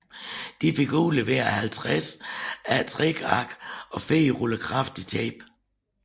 De fik udleveret 50 A3 ark og fire ruller kraftigt tape